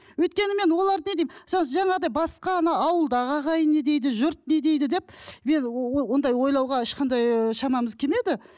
өйткені мен оларды не деймін мысалы жаңағыдай басқа мына ауылдағы ағайын не дейді жұрт не дейді деп мен ондай ойлауға ешқандай ыыы шамамыз келмеді